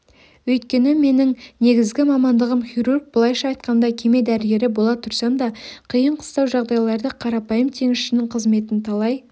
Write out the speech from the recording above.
өйткені менің негізгі мамандығым хирург былайша айтқанда кеме дәрігері бола тұрсам да қиын-қыстау жағдайларда қарапайым теңізшінің қызметін талай